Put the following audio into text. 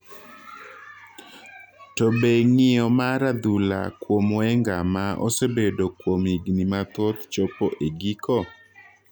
To be ng'iyo mar adhula kuom Wenger ma osebedo kuom higni mathoth chopo e giko?